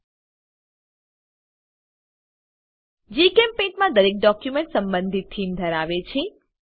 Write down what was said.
in જીચેમ્પેઇન્ટ માં દરેક ડોક્યુમેન્ટ સંબંધિત થીમ ધરાવે છે